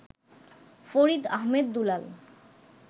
Farid Ahmed Dulal